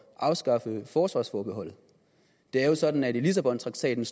at afskaffe forsvarsforbeholdet det er jo sådan at det i lissabontraktaten